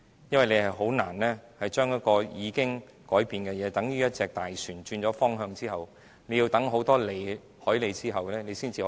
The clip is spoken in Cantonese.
因為政府是難以將已改變的事實再更正，等於一艘大船轉了方向後，要駛過很多海哩後才能修正。